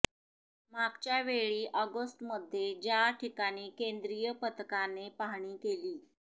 मागच्या वेळी ऑगस्टमध्ये ज्या ठिकाणी केंद्रीय पथकाने पाहणी केली